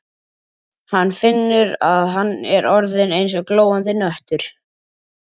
Hann finnur að hann er orðinn eins og glóandi hnöttur.